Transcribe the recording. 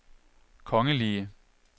kongelige